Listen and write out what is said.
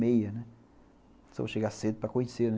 Só vou chegar cedo para conhecer, né?